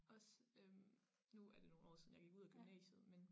Også øh nu er det nogen år siden jeg gik ud af gymnasiet men